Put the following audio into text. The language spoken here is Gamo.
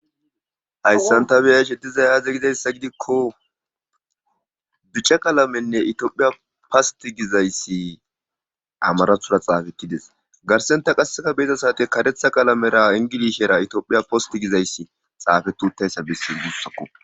Hayssan ta biya she di zayaze gidayssa gidikko bica qalamenne itiophiya past gizayssi amarathura xaafettides garsenta qassefa beeza saate karetha qalamera ingilishera itioophiya post gizayssi xaafetuuttayssa bessi gussakko.